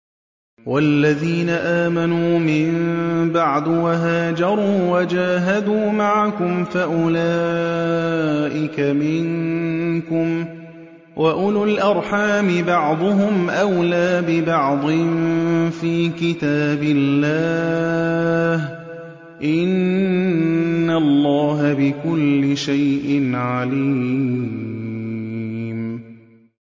وَالَّذِينَ آمَنُوا مِن بَعْدُ وَهَاجَرُوا وَجَاهَدُوا مَعَكُمْ فَأُولَٰئِكَ مِنكُمْ ۚ وَأُولُو الْأَرْحَامِ بَعْضُهُمْ أَوْلَىٰ بِبَعْضٍ فِي كِتَابِ اللَّهِ ۗ إِنَّ اللَّهَ بِكُلِّ شَيْءٍ عَلِيمٌ